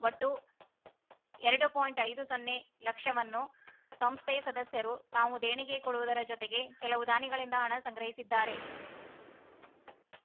ಒಟ್ಟು ಎರಡು ಪಾಯಿಂಟ್ ಐದು ಸೊನ್ನೆ ಲಕ್ಷವನ್ನು ಸಂಸ್ಥೆ ಸದಸ್ಯರು ತಾವು ದೇಣಿಗೆ ಕೊಡುವುದರ ಜೊತೆಗೆ ಕೆಲವು ದಾನಿಗಳಿಂದ ಹಣ ಸಂಗ್ರಹಿಸಿದ್ದಾರೆ